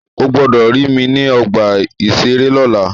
Ó gbọ́dọ̀ rí mi ní ọgbà-ìṣeré lọ́la!